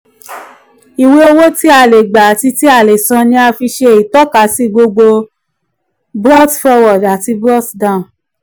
iwe owo ti a le gba ati ti a le san ni a fi ṣe itọkasi gbogbo brought forward àti brought down